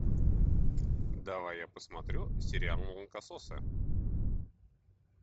давай я посмотрю сериал молокососы